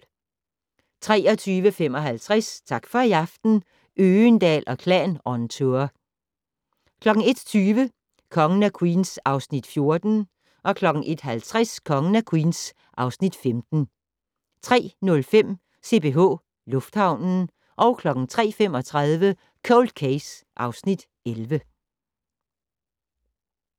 23:55: Tak for i aften - Øgendahl & Klan on tour 01:20: Kongen af Queens (Afs. 14) 01:50: Kongen af Queens (Afs. 15) 03:05: CPH Lufthavnen 03:35: Cold Case (Afs. 11)